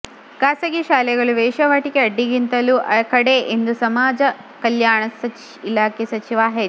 ಖಾಸಗಿ ಶಾಲೆಗಳು ವೇಶ್ಯಾವಾಟಿಕೆ ಅಡ್ಡಿಗಿಂತಲೂ ಕಡೆ ಎಂದು ಸಮಾಜ ಕಲ್ಯಾಣ ಇಲಾಖೆ ಸಚಿವ ಎಚ್